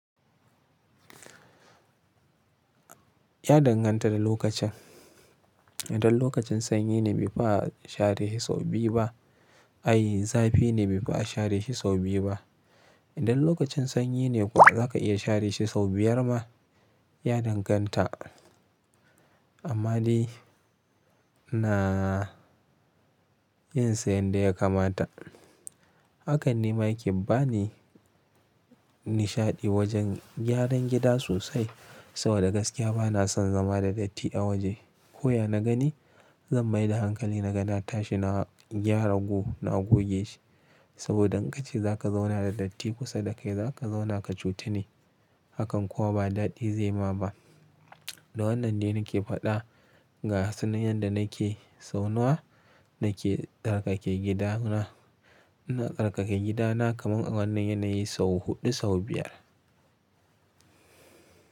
Ya danganta da lokacin. Idan lokacin sanyi ne bai fi a share shi sau biyu ba, ai zafi ne bai fi a share shi sau biyu ba. Idan lokacin sanyi ne kuwa zaka iya share shi sau biyar ma. Ya danganta. Amma dai ina yin sa yanda ya kamata. Hakan ne ma yake bani nishaɗi wajen gyaran gida sosai saboda gaskiya ba na son zama da datti a waje. Ko ya na gani zan mai da hankali na ga na tashi na gyara gu, na goge shi. Saboda in ka ce za ka zauna da datti kusa da kai za ka zauna ka cutu ne. Hakan kuwa ba daɗi zai ma ba. Da wannan ne nake faɗa ga su nan yadda nake zauna, nake tsarkake gidana. Ina karkake gidana kaman a wannan yanayi sau huɗu sau biyar.